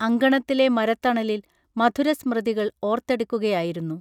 അങ്കണത്തിലെ മരത്തണലിൽ മധുര സ്മൃതികൾ ഓർത്തെടുക്കുകയായിരുന്നു